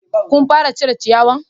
kun fara cire ciyawa?